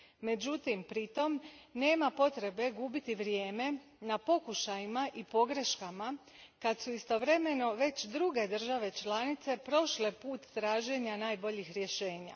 Međutim, pritom nema potrebe gubiti vrijeme na pokušajima i pogreškama, kad su istovremeno već druge države članice prošle put traženja najboljih rješenja.